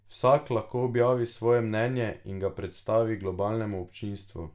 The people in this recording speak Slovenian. Vsak lahko objavi svoje mnenje in ga predstavi globalnemu občinstvu.